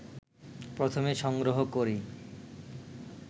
প্রথমে সংগ্রহ করি